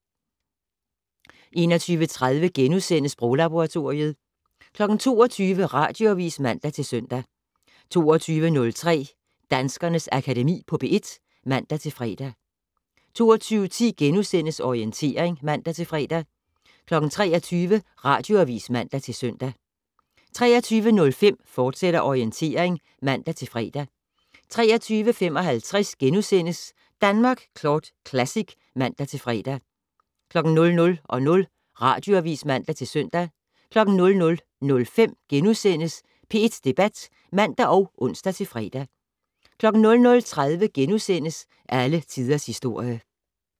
21:30: Sproglaboratoriet * 22:00: Radioavis (man-søn) 22:03: Danskernes Akademi på P1 (man-fre) 22:10: Orientering *(man-fre) 23:00: Radioavis (man-søn) 23:05: Orientering, fortsat (man-fre) 23:55: Danmark Kort Classic *(man-fre) 00:00: Radioavis (man-søn) 00:05: P1 Debat *(man og ons-fre) 00:30: Alle Tiders Historie *